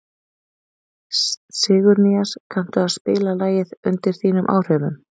Sigurnýas, kanntu að spila lagið „Undir þínum áhrifum“?